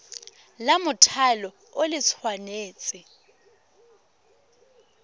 la mothale o le tshwanetse